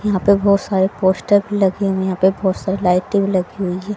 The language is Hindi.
यहाँ पे बहोत सारे पोस्टर भी लगे हुवे हैं यहाँ पे बहोत सारी लाइटें भी लगी हुई हैं।